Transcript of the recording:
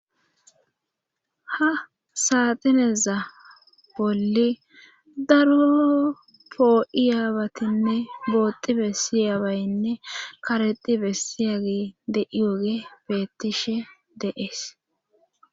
Ha saatineza bolli daro poo'iyaabatinne booxi bessiyaabaynne karexi bessiyagi deiwoge bettishe deees.